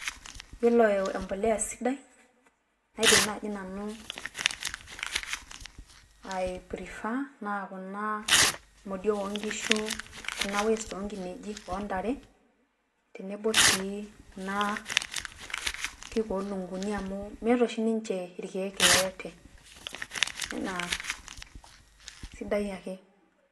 Yiolo empolea sidai naidim naaji nanu i prefer naa kuna modiok oo nkishu, kuna waste oo nkinejik o ntare, tenebo sii kuna kiik oo lukunguni. Amu meeta oshi ninche irkeek yeyote enaa, sidai ake.